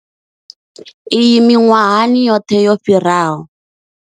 Iyi miṅwahani yoṱhe yo fhiraho.